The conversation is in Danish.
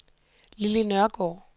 Lilly Nørgaard